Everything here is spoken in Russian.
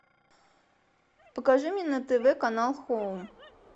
покажи мне на тв канал хоум